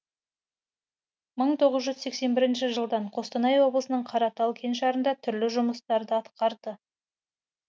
мың тоғыз жүз сексен бірінші жылдан қостанай облысының қаратал кеңшарында түрлі жұмыстарды атқарды